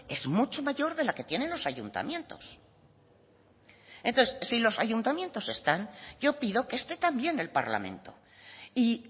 es mucho mayor de la que tienen los ayuntamientos entonces si los ayuntamientos están yo pido que esté también el parlamento y